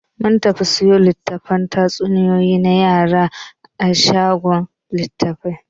Mun tafi siyo litattafan tatsuniyoyi na yara a shagon littafi.